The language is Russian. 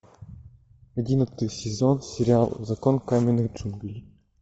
одиннадцатый сезон сериал закон каменных джунглей